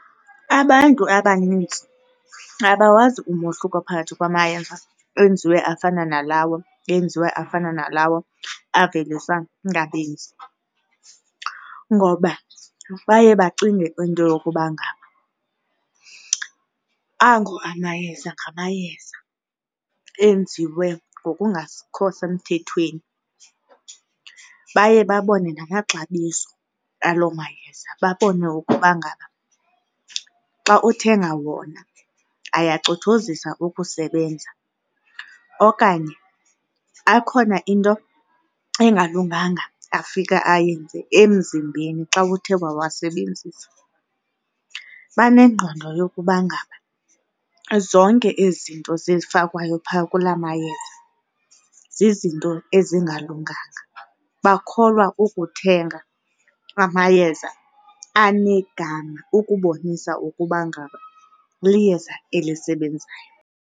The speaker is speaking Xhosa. Abantu abaninzi abawazi umohluko phakathi kwamayeza enziwe afana nalawo enziwe afana nalawo aveliswa ngabenzi ngoba baye bacinge into yokuba ngaba ango amayeza ngamayeza enziwe ngokungakho semthethweni. Baye babone namaxabiso aloo mayeza babone ukuba ngaba xa uthenga wona ayacothozisa ukusebenza okanye akhona into engalunganga afika ayenze emzimbeni xa uthe wawasebenzisa. Banengqondo yokuba ngaba zonke ezi zinto ezifakwayo pha kula mayeza zizinto ezingalunganga. Bakholwa ukuthenga amayeza anegama ukubonisa ukuba ngaba liyeza elisebenzayo.